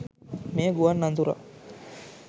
මෙය ගුවන් අනතුරක්